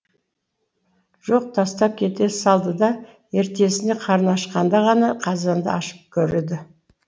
жоқ тастап кете салды да ертесіне қарны ашқанда ғана қазанды ашып көреді